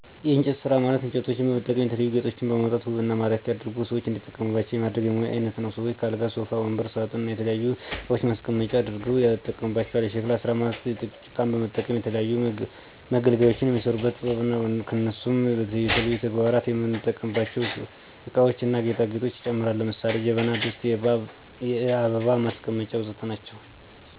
የእንጨት ስራ ማለት እንጨቶችን በመጠቀም የተለያዩ ጌጦችን በማውጣት ውብ እና ማራኪ አድርጎ ሰዎች እንዲጠቀሙባቸው የማድረግ የሙያ አይነት ነው። ሰዎችም ከአልጋ ሶፋ ወንበር ሳጥን እና የተለያዩ እቃዋችን ማስቀመጫ አድርገው ያጠቀሙባቸዋል። የሸክላ ስራ ማለት ጭቃን በመጠቀም ለተለያዩ መገልገያዎች የሚሰሩበት ጥበብ ነው። እነሱም በእየለት ተግባራችን የምንጠቀምባቸው እቃዎችን እና ጌጦችን ይጨምራል። ለምሳሌ ጀበና ድስት የአበባ ማስቀመጫ ወዘተ ናቸው